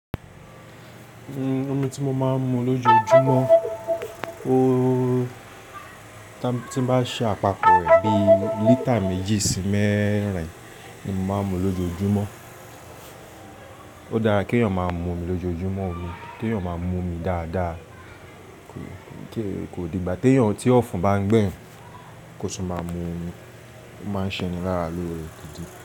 Omi tí mo máa ń mu lójoojúmọ́, ó tí n bá ṣe àpapọ̀ rẹ̀ bí lítà méjì sí mẹ́rin ni mo máa ń mu lójoojúmọ́. Ó dára keèyàn máa momi lójoojúmọ́ omi, kíèyàn máa momi dáadáa. Kí kò di ìgbà tí èèyàn tí ọ̀fun bá ń gbẹ̀yan kò to máa mu omi, ó máa ń ṣe ni lára lóore gidi.